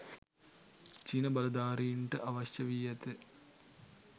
චීන බලධාරීන්ට අවශ්‍ය වී ඇත